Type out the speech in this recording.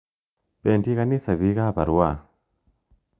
Pendi kanisa piik ap Arua.